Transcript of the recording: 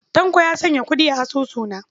Tanko ya sanya kuɗi a asusuna.